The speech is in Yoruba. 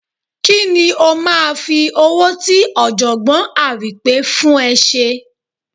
Ki ni ó máa fi owó tí Ọ̀jọ̀gbọ́n Àrìnpé fún ẹ ṣe?